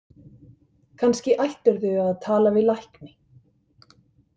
Kannski ættirðu að tala við lækni?